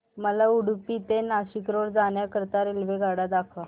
मला उडुपी ते नाशिक रोड जाण्या करीता रेल्वेगाड्या दाखवा